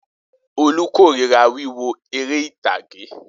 Olú korira wíwo eré ìtàgé.